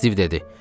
Stiv dedi.